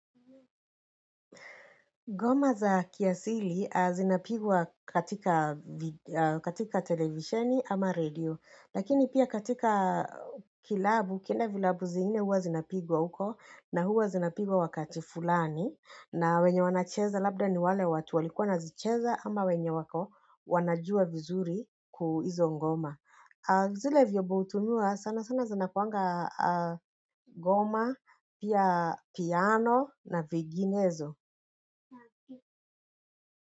Ngoma za kiasili a zinapigwa katika televisheni ama radio. Lakini pia katika kilabu, kila vilabu zingine huwa zinapigwa huko na huwa zinapigwa wakati fulani. Na wenye wanacheza labda ni wale watu walikua nazicheza ama wenye wako wanajua vizuri kuizo ngoma. Zile vyombo hutumiwa sana sana zinakuaga a ngoma, pia piano na zinginezo.